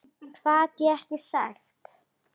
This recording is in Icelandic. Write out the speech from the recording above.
Hvað gat hann sagt?